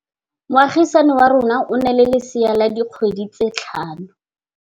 Moagisane wa rona o na le lesea la dikgwedi tse tlhano.